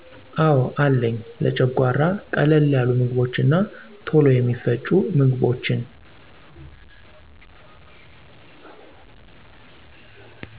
አዎ አለኝ , ለጨጓራ ቀለል ያሉ ምግቦች እና ቶሎ የሚፈጩ ምግቦችን